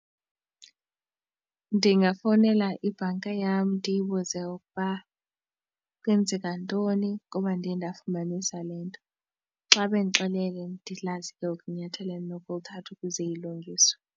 Ndingafowunela ibhanki yam ndiyibuze ukuba kwenzeka ntoni ngoba ndiye ndafumanisa le nto. Xa bendixelele ndiyazi ke ngoku inyathelo endinokulithatha ukuze ilungiswe.